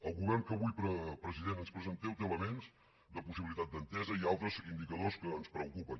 el govern que avui president ens presenteu té elements de possibilitat d’entesa i altres indicadors que ens preocupen